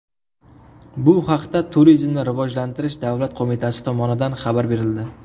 Bu haqda Turizmni rivojlantirish davlat qo‘mitasi tomonidan xabar berildi .